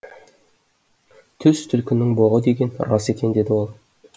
түс түлкінің боғы деген рас екен деді ол